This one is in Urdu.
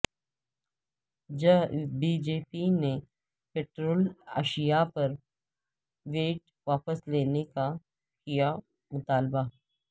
بی جے پی نے پیٹرولیم اشیاء پر ویٹ واپس لینے کا کیا مطالبہ